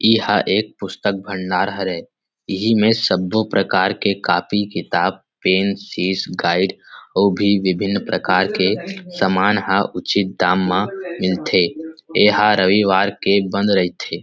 इहा एक पुस्तक भंडार हरे इहि में सबो प्रकार के कापी किताब पेन सीस गाइड और भी विभिन प्रकार के सामान ह उचिता दाम म मिलथे एहा रविवार के बंद रईथे।